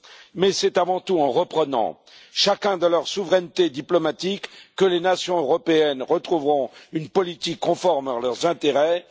Mais c'est avant tout en reprenant chacune de leur souveraineté diplomatique que les nations européennes retrouveront une politique conforme à leurs intérêts.